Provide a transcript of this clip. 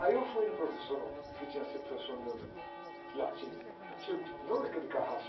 Aí eu fui no professor, um que tinha sido professor meu no, de latim antigo, não aquele carrasco.